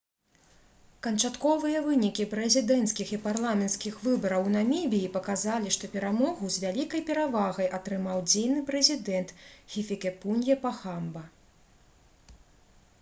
канчатковыя вынікі прэзідэнцкіх і парламенцкіх выбараў у намібіі паказалі што перамогу з вялікай перавагай атрымаў дзейны прэзідэнт хіфікепунье пахамба